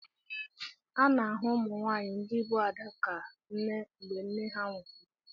A na-ahụ ụmụ nwaanyị ndị bụ Ada ka ndị nne mgbe nne ha nwụsịrị.